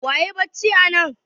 Wa yayi bacci anan?